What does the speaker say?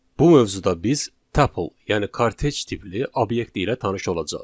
Bu mövzuda biz tuple, yəni kortej tipli obyekt ilə tanış olacağıq.